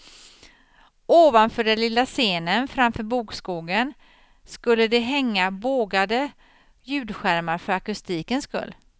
Ovanför den lilla scenen framför bokskogen skulle det hänga bågade ljudskärmar för akustikens skull.